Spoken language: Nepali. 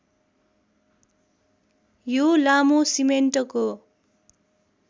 यो लामो सिमेन्टको